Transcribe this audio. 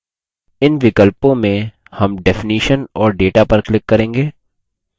इन विकल्पों में हम definition और data पर click करेंगे